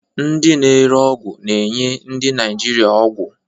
Ndị na-ere ọgwụ na-enye ndị Naijiria ọgwụ.